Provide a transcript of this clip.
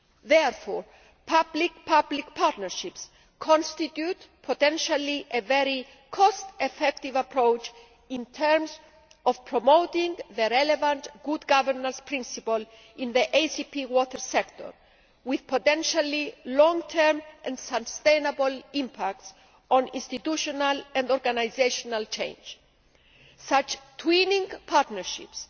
Therefore, public public partnerships potentially constitute a very cost effective approach in terms of promoting the relevant good governance' principle in the ACP water sector, with potentially long term and sustainable impacts on institutional and organisational change. Such twinning' partnerships